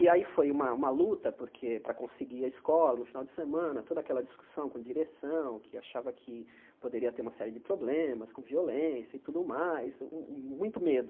E aí foi uma uma luta porque para conseguir a escola no final de semana, toda aquela discussão com direção, que achava que poderia ter uma série de problemas com violência e tudo mais, hum hum muito medo.